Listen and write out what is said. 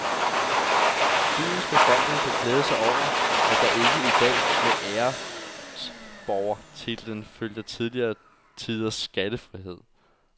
Byens befolkning kan glæde sig over, at der ikke i dag med æresborgertitlen følger tidligere tiders skattefrihed.